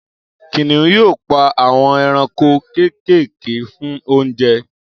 Kìnìún yóò pa àwọn ẹranko kéékèèké fún oúnjẹ